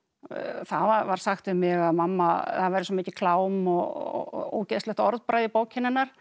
það var sagt við mig að það væri svo mikið klám og ógeðslegt orðbragð í bókinni hennar